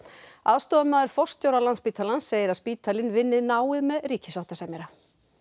aðstoðarmaður forstjóra Landspítalans segir að spítalinn vinni náið með ríkissáttasemjara